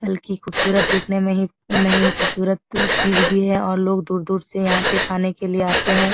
बल्की खूबसूरत देखने में ही उ नहीं खूबसूरत चीज भी है और लोग दूर-दूर से यहाँ पे खाने के लिए आतें है।